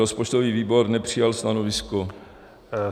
Rozpočtový výbor nepřijal stanovisko.